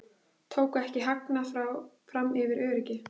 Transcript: Tóku ekki hagnað fram yfir öryggi